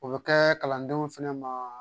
O bɛ kɛ kalandenw fana ma